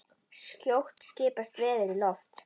Skjótt skipast veður í loft.